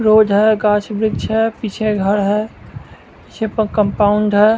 Road है गाछ वृक्ष है पीछे घर है पीछे प कंपाउंड है।